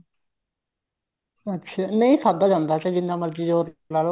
ਅੱਛਾ ਨਹੀਂ ਖਾਧਾ ਜਾਂਦਾ ਚਾਹੇ ਜਿੰਨਾ ਮਰਜ਼ੀ ਜੋਰ ਲਾਲੋ